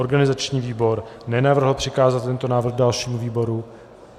Organizační výbor nenavrhl přikázat tento návrh dalšímu výboru.